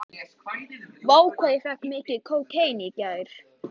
Reynir að hrista hann af sér en hann virðist fastur.